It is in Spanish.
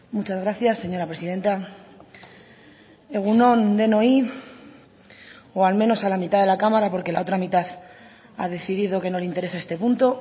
muchas gracias señora presidenta egun on denoi o al menos a la mitad de la cámara porque la otra mitad ha decidido que no le interesa este punto